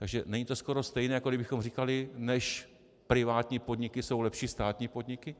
Takže není to skoro stejné, jako kdybychom říkali: než privátní podniky, jsou lepší státní podniky.